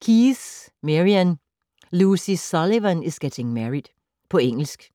Keyes, Marian: Lucy Sullivan is getting married På engelsk.